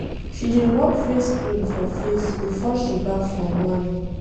She dey rob face cream for face before she baff for morning.